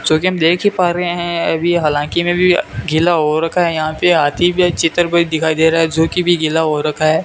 जो की हम देख ही पा रहें हैं ये भी हालांकी में भी गिला हो रखा है यहां पे हाथी भी है चितर कोई दिखाई दे रहा है जो की बी गिला हो रखा है।